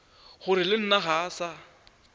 gore le nna ga sa